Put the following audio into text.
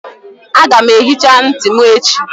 Aga m ehicha ntị m echi